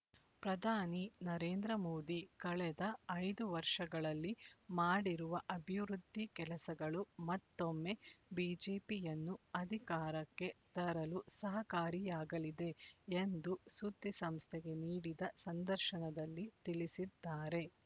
ಪ್ರಧಾನಿ ನರೇಂದ್ರ ಮೋದಿ ಕಳೆದ ಐದು ವರ್ಷಗಳಲ್ಲಿ ಮಾಡಿರುವ ಅಭಿವೃದ್ಧಿ ಕೆಲಸಗಳು ಮತ್ತೊಮ್ಮೆ ಬಿಜೆಪಿಯನ್ನು ಅಧಿಕಾರಕ್ಕೆ ತರಲು ಸಹಕಾರಿಯಾಗಲಿದೆ ಎಂದು ಸುದ್ದಿಸಂಸ್ಥೆಗೆ ನೀಡಿದ ಸಂದರ್ಶನದಲ್ಲಿ ತಿಳಿಸಿದ್ದಾರೆ